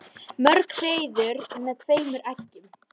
Mörg hreiður með tveimur eggjum.